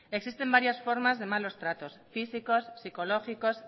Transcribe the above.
existen varias formas de malos tratos físicos psicológicos